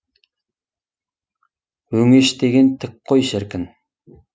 өңеш деген тік қой шіркін